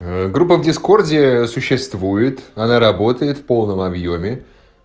группа в дискорде существует она работает в полном объёме